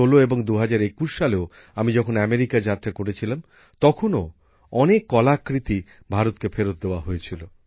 ২০১৬ এবং ২০২১ সালেও আমি যখন মার্কিন যুক্তরাষ্ট্র সফর করেছিলাম তখনও অনেক শিল্পকলা ভারতকে ফেরত দেওয়া হয়েছিল